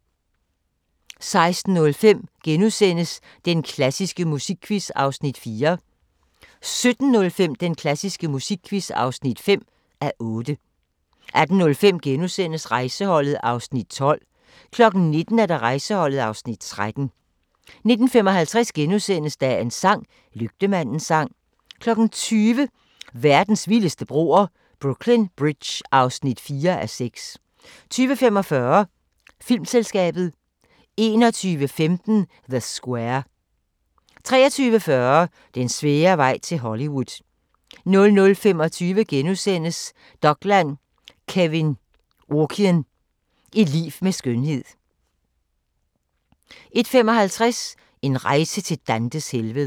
17:05: Den klassiske musikquiz (5:8) 18:05: Rejseholdet (Afs. 12)* 19:00: Rejseholdet (Afs. 13) 19:55: Dagens sang: Lygtemandens sang * 20:00: Verdens vildeste broer – Brooklyn Bridge (4:6) 20:45: Filmselskabet 21:15: The Square 23:40: Den svære vej til Hollywood 00:25: Dokland: Kevyn Aucoin – et liv med skønhed * 01:55: En rejse til Dantes helvede